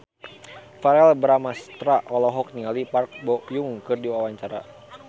Verrell Bramastra olohok ningali Park Bo Yung keur diwawancara